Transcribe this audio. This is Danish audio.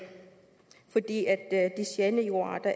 det